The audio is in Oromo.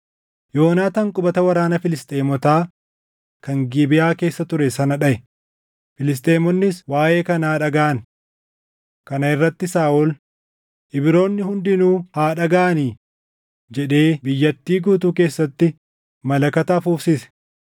Yoonaataan qubata waraana Filisxeemotaa kan Gibeʼaa keessa ture sana dhaʼe; Filisxeemonnis waaʼee kanaa dhagaʼan. Kana irratti Saaʼol, “Ibroonni hundinuu haa dhagaʼani!” jedhee biyyattii guutuu keessatti malakata afuufsise.